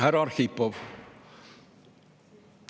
Härra Arhipov!